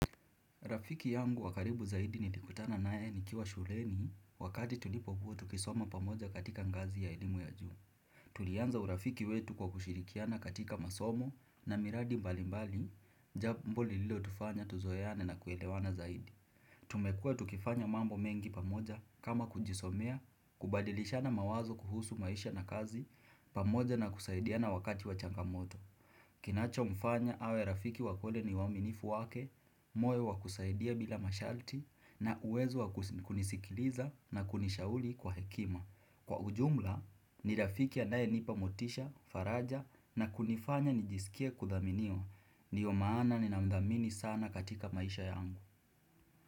Rafiki yangu wakaribu zaidi nilikutana nae ni kiwa shuleni wakati tulipo kuwa tukisoma pamoja katika ngazi ya elimu ya juu. Tulianza urafiki wetu kwa kushirikiana katika masomo na miradi mbali mbali jambo ambalo lilo tufanya tuzoane na kuelewana zaidi. Tumekua tukifanya mambo mengi pamoja kama kujisomea, kubadilishana mawazo kuhusu maisha na kazi pamoja na kusaidiana wakati wachangamoto. Kinacho mfanya awe rafiki wakweli ni waminifu wake, moyo wakusaidia bila mashalti na uwezo wakunisikiliza na kunishauli kwa hekima. Kwa ujumla, ni rafiki anaye nipa motisha, faraja na kunifanya nijisikia kudhaminiwa. Ndio maana ni namdamini sana katika maisha yangu.